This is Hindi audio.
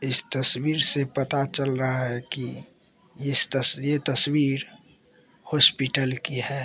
इस तस्वीर से पता चल रहा है की इस तस ये तस्वीर हॉस्पिटल की है।